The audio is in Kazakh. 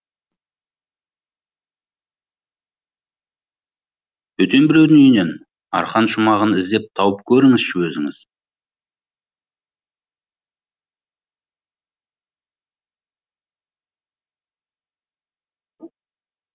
бөтен біреудің үйінен арқан шумағын іздеп тауып көріңізші өзіңіз